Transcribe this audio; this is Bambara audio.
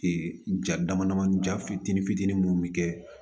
ja damadamani jatinin fitiinin minnu bɛ kɛ